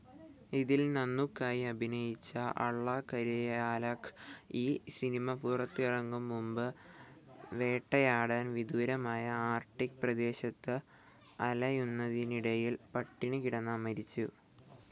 ഇതിൽ നാനൂക്കായി അഭിനയിച്ച അള്ളാകരിയാലക്ക് ഈ സിനിമ പുറത്തിറങ്ങും മുമ്പ് വേട്ടയാടാൻ വിദൂരമായ ആർക്ടിക്‌ പ്രദേശത്ത് അലയുന്നതിനിടയിൽ പട്ടിണികിടന്ന മരിച്ചു.